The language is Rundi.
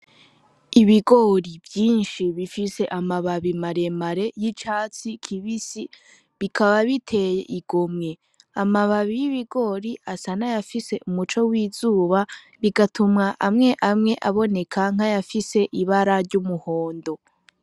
Ibigori vyinshi bifise amababi maremare yicatsi kibisi bikaba biteye igomwe amababi y'ibigori asa nayafise umuco w'izuba bigatuma amwe amwe aboneka nkayafise ibara ry'umuhondo.